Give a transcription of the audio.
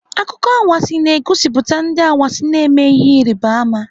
Akụkọ anwansị na-egosipụta ndị anwansị na-eme ihe Ịrịbama.